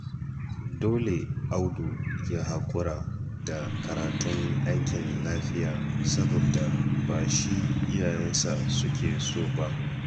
Dole Audu ya haƙura da karatun aikin lafiya saboda ba shi iyayensa suke so ba